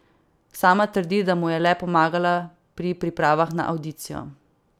Sama trdi, da mu je le pomagala pri pripravah na avdicijo.